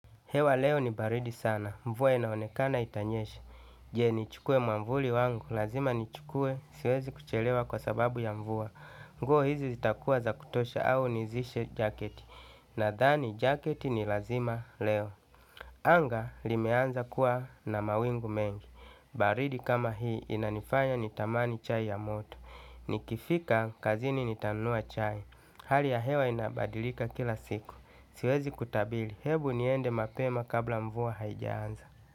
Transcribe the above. Hewa leo ni baridi sana, mvua inaonekana itanyesha. Je, nichukue mwavuli wangu, lazima ni chukue, siwezi kuchelewa kwa sababu ya mvua. Nguo hizi zitakuwa za kutosha au nizishe jaketi. Nathani, jaketi ni lazima leo. Anga limeanza kuwa na mawingu mengi. Baridi kama hii, inanifanya nitamani chai ya moto. Nikifika kazini nitanunua chai. Hali ya hewa inabadilika kila siku. Siwezi kutabili, hebu niende mapema kabla mvua haijaanza.